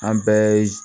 An bɛɛ